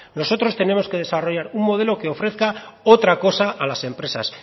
nosotros tenemos que desarrollar un modelo que ofrezca otra cosa a las empresas